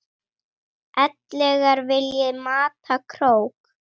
ellegar vilji mata krók.